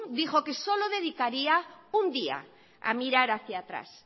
dijo que solo dedicaría un día a mirar hacia atrás